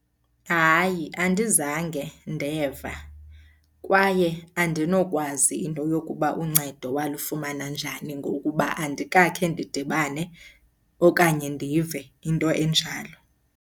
Hayi, andizange ndeva kwaye andinokwazi into yokuba uncedo walifumana njani ngokuba andikakhe ndidibane okanye ndive into enjalo.